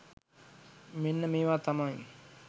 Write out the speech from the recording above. මෙන්න මේවා තමයි